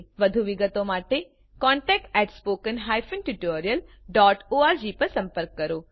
વધુ વિગત માટે કૃપા કરી contact at spoken hyphen tutorial dot org પર સંપર્ક કરો